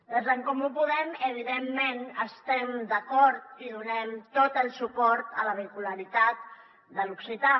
des d’en comú podem evidentment estem d’acord i donem tot el suport a la vehicularitat de l’occità